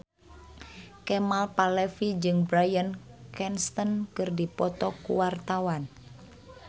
Kemal Palevi jeung Bryan Cranston keur dipoto ku wartawan